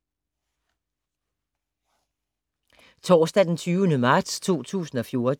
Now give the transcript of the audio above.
Torsdag d. 20. marts 2014